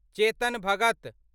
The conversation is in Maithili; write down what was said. चेतन भगत